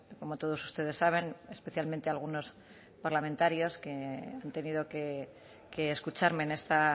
como todos ustedes saben especialmente algunos parlamentarios que han tenido que escucharme en esta